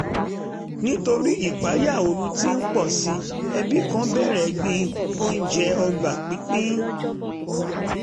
nítorí ìpayà ooru tí ń pọ̀si ẹbí kan bẹ̀rẹ̀ gbin oúnjẹ ọgbà pínpín